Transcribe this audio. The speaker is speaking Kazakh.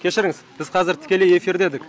кешіріңіз біз қазір тікелей эфирде едік